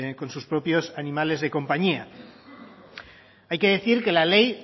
con sus propios animales de compañía hay que decir que la ley